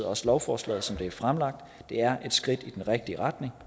også lovforslaget som det er fremlagt det er et skridt i den rigtige retning